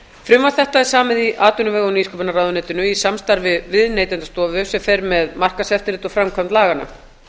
frumvarp þetta er samið í atvinnu og nýsköpunarráðuneytinu í samstarfi við neytendastofu sem fer með markaðseftirlit og framkvæmd laganna